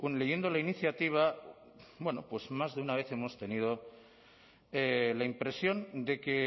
leyendo la iniciativa bueno pues más de una vez hemos tenido la impresión de que